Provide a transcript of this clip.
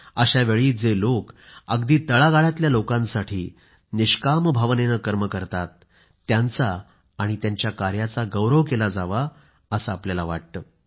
अशावेळी जे लोक अगदी तळागाळातल्या लोकांसाठी निस्वार्थी भावनेने कार्य करतात त्यांचा आणि त्यांच्या कार्याचा गौरव केला जावा असं आपल्याला वाटतं